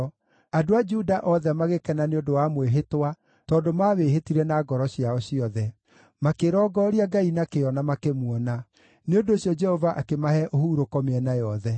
Andũ a Juda othe magĩkena nĩ ũndũ wa mwĩhĩtwa tondũ mawĩhĩtire na ngoro ciao ciothe. Makĩrongooria Ngai na kĩyo, na makĩmuona. Nĩ ũndũ ũcio Jehova akĩmahe ũhurũko mĩena yothe.